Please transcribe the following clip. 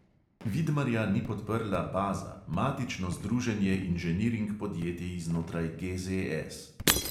Vidmarja ni podprla "baza", matično združenje inženiring podjetij znotraj GZS.